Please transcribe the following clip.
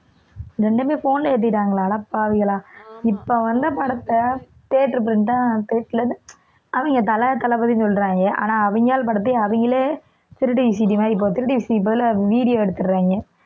இரண்டுமே phone ல ஏத்திட்டாங்களா அடப்பாவிகளா இப்ப வந்த படத்தை theater print ஆ அவங்க தல தளபதின்னு சொல்றாங்க ஆனா அவங்க ஆளு படத்தையே அவங்களே திருட்டு VCD மாதிரி இப்போ திருட்டு VCD க்கு பதிலா video எடுத்திடுறாங்க